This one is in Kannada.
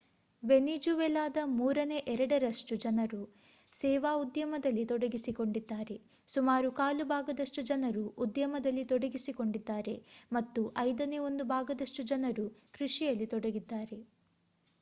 ವೆನಿಜುವೆಲಾದ ಮೂರನೇ ಎರಡರಷ್ಟು ಜನರು ಸೇವಾ ಉದ್ಯಮದಲ್ಲಿ ತೊಡಗಿಸಿಕೊಂಡಿದ್ದಾರೆ ಸುಮಾರು ಕಾಲು ಭಾಗದಷ್ಟು ಜನರು ಉದ್ಯಮದಲ್ಲಿ ತೊಡಗಿಸಿಕೊಂಡಿದ್ದಾರೆ ಮತ್ತು ಐದನೇ ಒಂದು ಭಾಗದಷ್ಟು ಜನರು ಕೃಷಿಯಲ್ಲಿ ತೊಡಗಿದ್ದಾರೆ